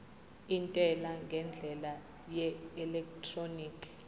intela ngendlela yeelektroniki